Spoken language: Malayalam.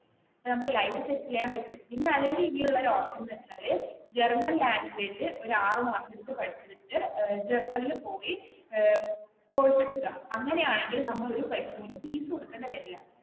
പിന്നെ നമുക്ക് ചെയ്യാൻ പറ്റും അല്ലെങ്കിൽ ഇനിയുള്ള ഒരു ഓപ്ഷൻ എന്ന് വെച്ചാൽ ജർമൻ ലാംഗ്വേജ് ഒരു ആറു മാസം ഇരുന്ന് പഠിച്ചിട്ട് ജര്മനിൽ പോയി കോഴ്സ് എടുക്കുക അങ്ങനെയാണെങ്കിൽ നമ്മൾ ഒരു പൈസ പോലും ഫീസ് കൊടുക്കേണ്ടി വരില്ല.